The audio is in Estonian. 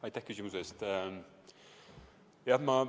Aitäh küsimuse eest!